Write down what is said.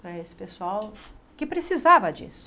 para esse pessoal que precisava disso.